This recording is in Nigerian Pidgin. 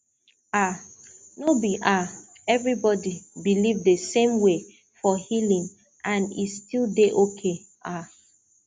um no be um everybody believe the same way for healing and e still dey okay um